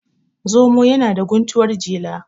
zomo yana da guntuwar jela